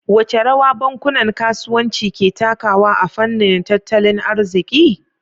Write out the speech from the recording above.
Wace rawa bankunan kasuwanci ke takawa a fannin tattalin arziki?